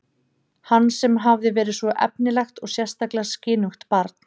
Hann sem hafði verið svo efnilegt og sérstaklega skynugt barn.